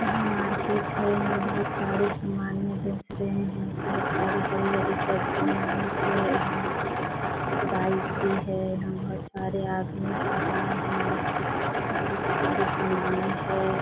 यहाँ मार्केट है। यहाँ बहुत सारे सामाने बेच रहे है। बहुत सारे हरी-हरी सब्जियां बेच रहे है। कुछ बाइक भी है। यहाँ बहुत सारे आदमी जा रहे है। बहुत सारे सामाने है।